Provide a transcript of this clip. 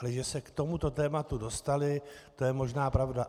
Ale že se k tomuto tématu dostali, to je možná pravda.